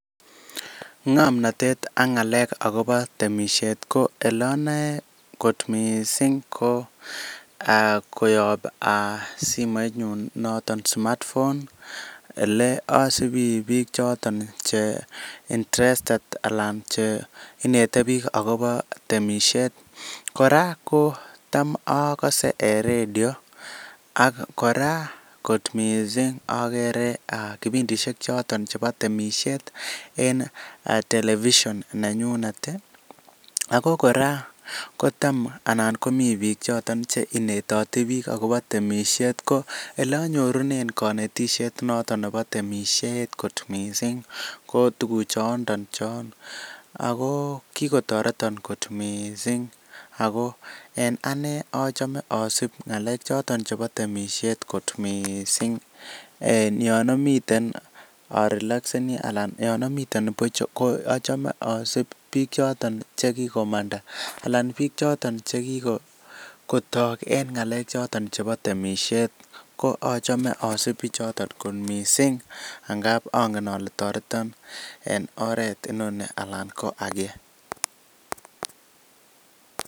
Ng'omnatet ak ng'alek akobo temisiet ko oleanoe kot mising ko koyob simoitnyu. noton smart phone ele asibi biik chotok interested alan cheinetei biik akobo temisiet. Kora ko tam akose radio, kora kot mising agere kipindishek chotok chebo temisiet en television nenyunet. Ako kora ko tam anan komi biik che tam konetishei akobo temisiet. Ko ole anyorunekot mising ng'omnotet notok akobo temisiet kot mising ko tukuk chon ako kikotoreto kot mising. Ako en ane achame asip ng'alekap temisiet kot mising. Yon amite arelaxeni anan yon amiten puch ko achame biik choton che kikomanda anan biik chotok che kikotok eng ng'alek choton chebo temisiet ak achame akase biich choton kot mising ngap anget ale toreton eng oret ege.